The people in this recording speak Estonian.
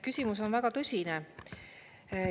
Küsimus on väga tõsine.